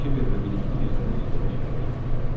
Kiber və birlikdə gizlənə-gizlənə şəhərə gəldilər.